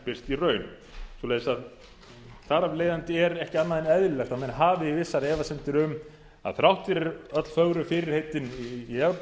birst í raun svoleiðis að þar af leiðandi er ekki andað en eðlilegt að menn hafi vissar efasemdir um að þrátt fyrir öll fögru fyrirheitin í evrópumálunum að